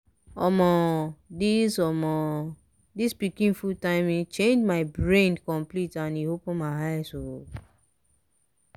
omo! this omo! this pikin food timing school change my brain complete and e open my eyes oh